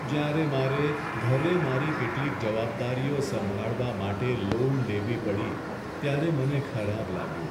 જ્યારે મારે ઘરે મારી કેટલીક જવાબદારીઓ સંભાળવા માટે લોન લેવી પડી ત્યારે મને ખરાબ લાગ્યું.